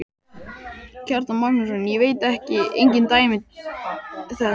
Kjartan Magnússon: Ég veit engin dæmi þess?